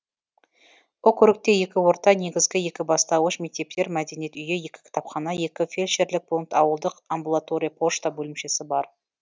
округте екі орта негізгі екі бастауыш мектептер мәдениет үйі екі кітапхана екі фельдшерлік пункт ауылдық амбулатория пошта бөлімшесі бар